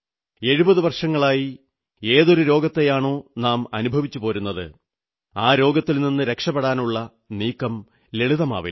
70 വർഷങ്ങളായി ഏതൊരു രോഗത്തെയാണോ നാം അനുഭവിച്ചു പോരുന്നത് ആ രോഗത്തിൽ നിന്നു രക്ഷപ്പെടാനുള്ള നീക്കം ലളിതമാവില്ല